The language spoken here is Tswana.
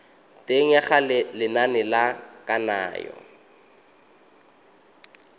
teng ga lenane la kananyo